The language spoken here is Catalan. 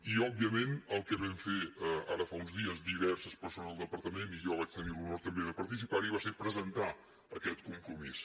i òbviament el que vam fer ara fa uns dies diverses persones del departament jo vaig tenir l’honor també de participar hi va ser presentar aquest compromís